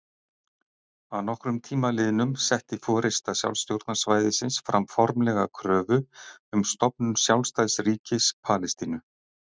Að nokkrum tíma liðnum setti forysta sjálfstjórnarsvæðisins fram formlega kröfu um stofnun sjálfstæðs ríkis Palestínu.